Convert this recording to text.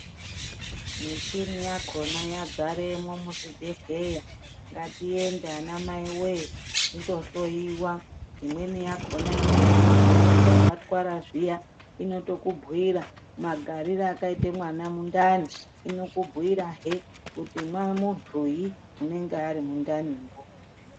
Muchini yakhona yazaremo muzvibhehleya ngatiende ana Mai wee tinohloiwa imweni yakona inokubhuyira kana watwara zviya inokubhuyira magarire akaita mwana mundani inokubhuyira hee kuti muntuyi anenge Ari mundani mo.